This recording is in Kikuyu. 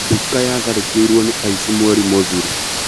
Nduka nĩyatharĩkĩirwo nĩ aici mweri mũthiru